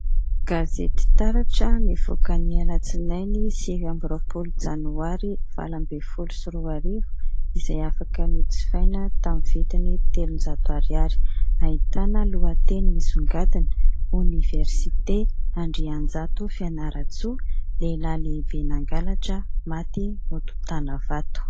Gazety TARATRA, nivoaka ny alatsinainy sivy amby roapolo janoary valo ambin'ny folo sy roa arivo, izay azo nojifaina amin'ny vidiny telonjato ariary . Ahitana lohateny misongadina : Oniversité Andrainjato Fianarantsoa : Lehilahy lehibe nangalatra , maty notontana vato.